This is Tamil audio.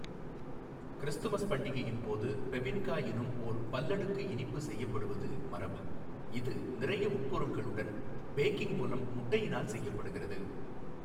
கிறிஸ்துமஸ் பண்டிகையின் போது பெபின்கா எனும் ஓர் பல்லடுக்கு இனிப்பு செய்யப்படுவது மரபு, இது நிறைய உட்பொருள்களுடன் பேகிங் மூலம் முட்டையினால் செய்யப்படுகிறது.